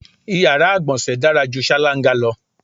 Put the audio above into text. Iyàrá ìgbọ̀nsẹ̀ dára ju ṣáláńgá lọ.